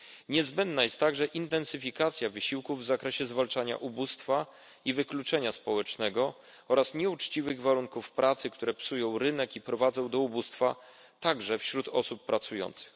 Niezbędna jest także intensyfikacja wysiłku w zakresie zwalczania ubóstwa i wykluczenia społecznego oraz nieuczciwych warunków pracy, które psują rynek i prowadzą do ubóstwa także wśród osób pracujących.